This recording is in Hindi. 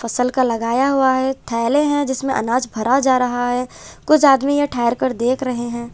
फसल का लगाया हुआ है थैले हैं जिसमें अनाज भरा जा रहा है कुछ आदमी यह ठहर कर देख रहे हैं।